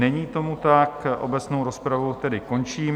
Není tomu tak, obecnou rozpravu tedy končím.